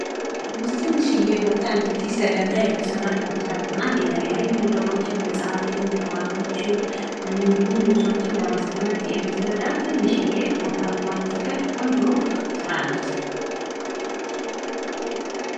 ትንሽዬ ቦታ እንድትይዝ ተደርጋ የተሰራች ቁም ሳጥን የተለያዩ ነገሮችን መጻፍቶችን ቅባቶችን እንዲሁም ልብሶችን ለማስቀመጥ የምትረዳት ትንሽዬ ቦታየማትፈጅ ቆንጆ ስራ ናት።